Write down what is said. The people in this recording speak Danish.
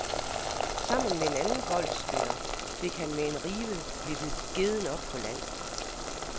Sammen med en anden golfspiller fik han med en rive vippet gedden op på land.